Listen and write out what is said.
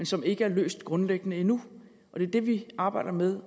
som ikke er løst grundlæggende endnu og det er det vi arbejder med